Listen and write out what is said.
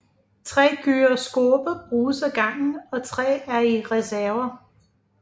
Tre gyroskoper bruges ad gangen og tre er i reserve